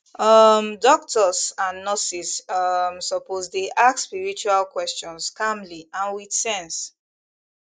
um doctors and nurses um suppose dey ask spiritual questions calmly and with sense